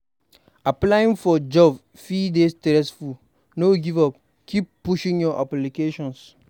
Applying for jobs fit dey stressful; no give up, keep pushing your applications.